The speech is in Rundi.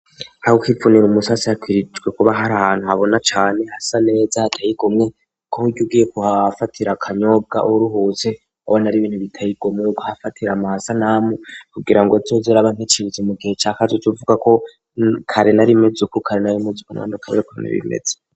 Aho kipfunira umusase akwirirwe kuba hari ahantu habona cane hasa neza hatayikomwe ko gy ugiye kuhaafatira akanyobwa uruhuzi abon ri ibintu bitayigomew k hafatira amaasanamu kugira ngo tsozera bankecize mu gihe cacu c'uvuga ko kare narimez uku kare narimeze uku ntandukanye nukuntu bimeze.